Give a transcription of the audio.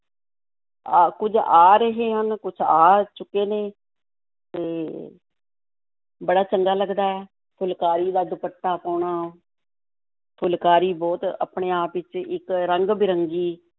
ਆ, ਕੁੱਝ ਆ ਰਹੇ ਹਨ, ਕੁੱਝ ਆ ਚੁੱਕੇ ਨੇ ਤੇ ਬੜਾ ਚੰਗਾ ਲੱਗਦਾ ਹੈ ਫੁਲਕਾਰੀ ਦਾ ਦੁਪੱਟਾ ਪਾਉਣਾ ਫੁਲਕਾਰੀ ਬਹੁਤ ਆਪਣੇ ਆਪ ਵਿੱਚ ਇੱਕ ਰੰਗ-ਬਿਰੰਗੀ